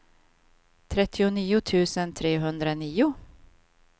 trettionio tusen trehundranio